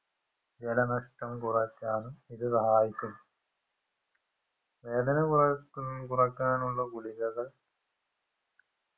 ജലനഷ്ടം കുറക്കാനും ഇത് സഹായിക്കും വേദനകുറക്ക കുറക്കാനുള്ള ഗുളികകൾ